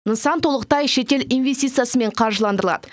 нысан толықтай шетел инвестициясымен қаржыландырылады